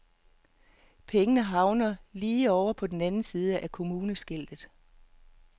Pengene havner lige ovre på den anden side af kommuneskiltet.